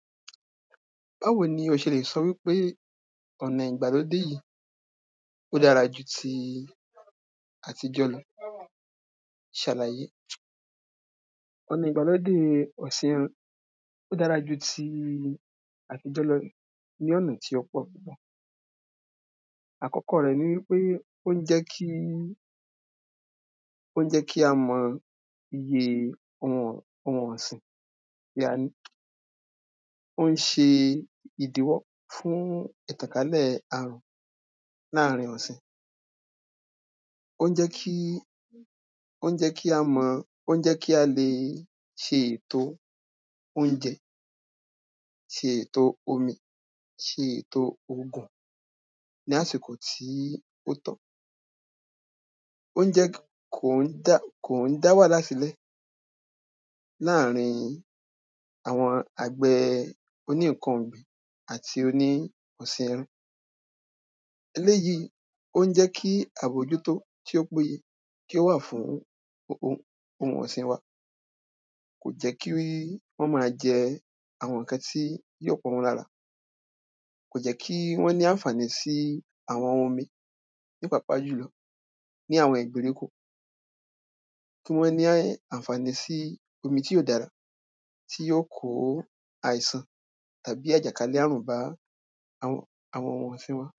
Báwo ni o ṣe lè sọ wípé ọ̀nà ìgbàlódé yìí ó dára ju ti àtijọ́ lọ ṣàlàyé. Ọ̀nà ìgbàlódé yìí? ó dára ju ti àtijọ́ lọ ní ọ̀nà tí ó pọ̀. Àkọ́kọ́ rẹ̀ ni pé ó ń jẹ́ kí ó ń jẹ́ kí a mọ iye ohun ọ̀ ohun ọ̀sìn tí a ní. Ó ń ṣe ìdíwọ́ fún ìtànkálẹ̀ àrùn láàrin ọ̀sìn. Ó ń jẹ́ kí ó ń jẹ́ kí a mọ pé ó ń jẹ́ kí a le ṣe èto óúnjẹ, ṣe èto omi, ṣe èto òògùn, ní àsìkò tí ó tọ́. Ó ń jẹ́ kí kò ń dá kò ń dá wàhálà sílẹ̀ láàrin àwọn àgbẹ̀ oní nǹkan ọ̀gbìn àti oní ọ̀sìn ẹran. Eléèyí ó ń jẹ́ kí àbójútó tí ó péye kí ó wà fú ohun ọ̀ ọ̀sìn wa. Kò jẹ́ kí ó má jẹ àwọn nǹkan tí yóò pa wọ́n lára, kò jẹ́ kí wọ́n ní ànfàní sí àwọn omi nípàápàá jùlọ ní àwọn ìgbèríko tí wọ́n ní ànfàní sí omi tí ó dára tí ó kó àìsàn àbí àjàkálé àrùn bá àwọn àwọn ohun ọ̀sìn wọn.